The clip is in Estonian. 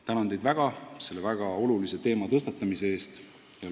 Tänan teid väga selle väga olulise teema tõstatamise eest!